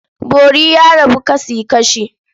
Bori ya rabu kasi-kashi.